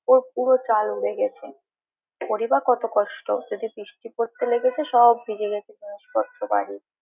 ওর পুরো চাল উড়ে গেছে ওরই বা কত কষ্ট! যদি বৃষ্টি পড়তে লেগেছে সব ভিজে গেছে জিনিসপত্র বাড়ির।